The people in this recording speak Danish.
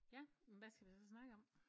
Ja men hvad skal vi så snakke om